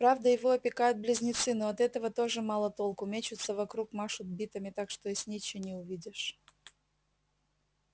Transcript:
правда его опекают близнецы но от этого тоже мало толку мечутся вокруг машут битами так что и снитча не увидишь